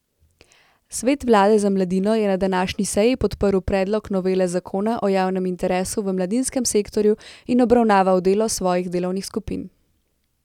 Svet vlade za mladino je na današnji seji podprl predlog novele zakona o javnem interesu v mladinskem sektorju in obravnaval delo svojih delovnih skupin.